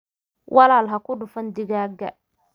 Walaal haku dhufan digaagga